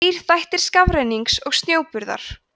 þrír þættir skafrennings og snjóburðar